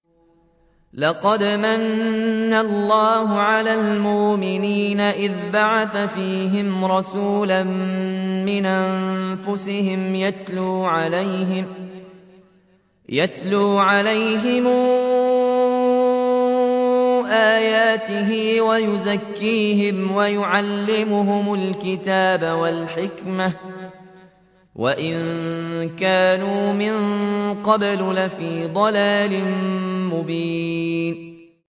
لَقَدْ مَنَّ اللَّهُ عَلَى الْمُؤْمِنِينَ إِذْ بَعَثَ فِيهِمْ رَسُولًا مِّنْ أَنفُسِهِمْ يَتْلُو عَلَيْهِمْ آيَاتِهِ وَيُزَكِّيهِمْ وَيُعَلِّمُهُمُ الْكِتَابَ وَالْحِكْمَةَ وَإِن كَانُوا مِن قَبْلُ لَفِي ضَلَالٍ مُّبِينٍ